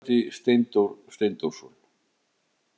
Þýðandi Steindór Steindórsson.